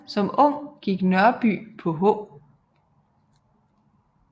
Som ung gik Nørby på H